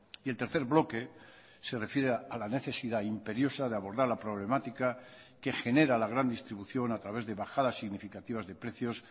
y el tercer bloque se refiere a la necesidad imperiosa de abordar la problemática que genera la gran distribución a través de bajadas significativas de precios